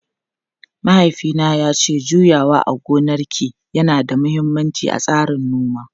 Mahaifina ya ce juyawa a gonaki yana da mahimmanci a tsarin noma.